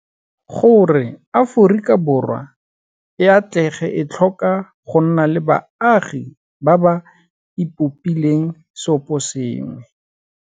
Gore Aforika Borwa e atlege e tlhoka go nna le baagi ba ba ipopileng seoposengwe.